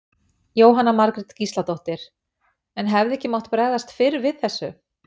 Jóhanna Margrét Gísladóttir: En hefði ekki mátt bregðast fyrr við þessu?